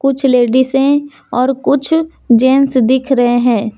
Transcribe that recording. कुछ लेडिस है और कुछ जेंट्स दिख रहे हैं।